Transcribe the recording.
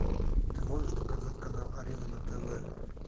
ты можешь показать канал арена на тв